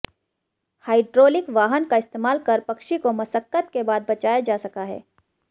hydraulic वाहन का इस्तमाल कर पक्षी को मशक्कत के बाद बचाया जा सका है